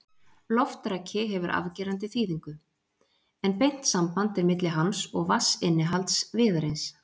Loftraki hefur afgerandi þýðingu, en beint samband er milli hans og vatnsinnihalds viðarins.